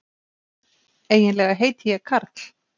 Eiginlega heiti ég Karl.